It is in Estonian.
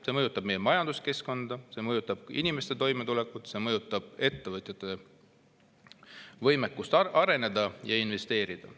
See mõjutab meie majanduskeskkonda, see mõjutab inimeste toimetulekut, see mõjutab ettevõtjate võimekust areneda ja investeerida.